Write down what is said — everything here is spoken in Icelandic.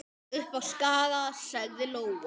Upp á Skaga, sagði Lóa.